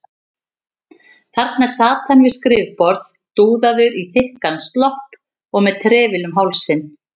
Þarna sat hann við skrifborð, dúðaður í þykkan slopp og með trefil um hálsinn.